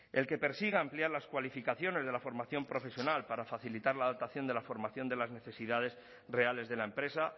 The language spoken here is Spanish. el que persigue ampliar las cualificaciones la formación profesional para facilitar la adaptación de la formación de las necesidades reales de la empresa